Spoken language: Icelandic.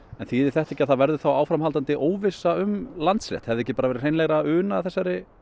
þýðir þetta ekki að það verður áframhaldandi óvissa um Landsréttar hefði ekki verið hreinlegra að una þessari